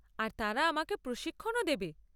আর তারা আমাকে প্রশিক্ষণও দেবে।